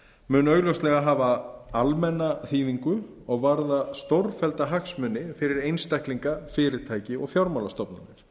mun augljóslega hafa almenna þýðingu og varða stórfellda hagsmuni fyrir einstaklinga fyrirtæki og fjármálastofnanir